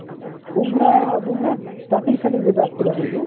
ବୃମା ବୃମା starting starting ଯେବେ ଆସିଥିଲା ନାହିଁ କି